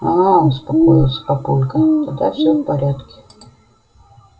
аа успокоился папулька тогда все в порядке